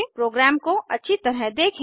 programme को अच्छी तरह देखें